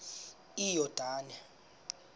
iyordane